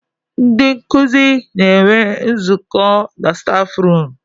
Ndị nkuzi na-enwe nzụkọ na stafrum.